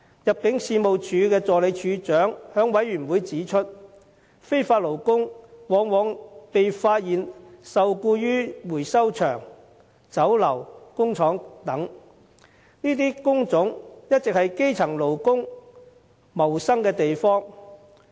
入境處助理處長在事務委員會會議上指出，非法勞工往往被發現受僱於回收場、酒樓、工廠等，這些工種一直是基層勞工謀生的地方。